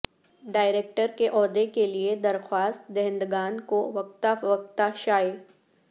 director کے عہدے کے لئے درخواست دہندگان کو وقتا فوقتا شائع